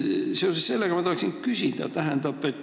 Seoses sellega ma tahan ka küsida.